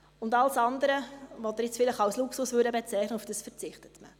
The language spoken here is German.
Auf alles andere, das Sie jetzt vielleicht als Luxus bezeichnen würden, verzichtet man.